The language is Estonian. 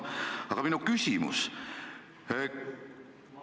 Aga minu küsimus on selline.